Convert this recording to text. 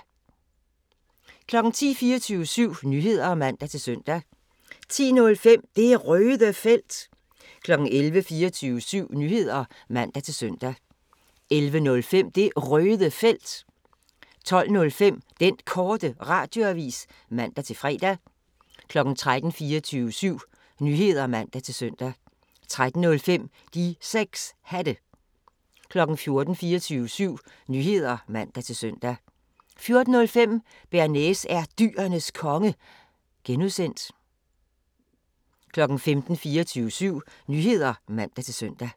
10:00: 24syv Nyheder (man-søn) 10:05: Det Røde Felt 11:00: 24syv Nyheder (man-søn) 11:05: Det Røde Felt 12:05: Den Korte Radioavis (man-fre) 13:00: 24syv Nyheder (man-søn) 13:05: De 6 Hatte 14:00: 24syv Nyheder (man-søn) 14:05: Bearnaise er Dyrenes Konge (G) 15:00: 24syv Nyheder (man-søn)